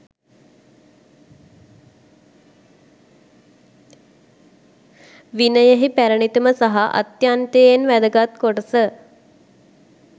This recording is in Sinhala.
විනයෙහි පැරැණිතම සහ අත්‍යන්තයෙන් වැදගත් කොටස